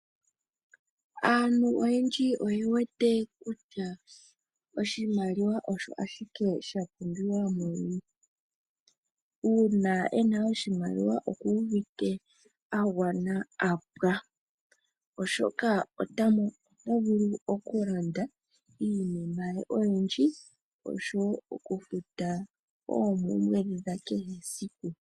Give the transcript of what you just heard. Aantu oyendji oye wete kutya oshimaliwa osho ashike sha pumbiwamo muuyuni. Uuna yena oshimaliwa oku uvite agwana apwa. Oshoka oto vuku okulanda iinima oyindji osho woo oku futa oompumbwe dha kehe esiku.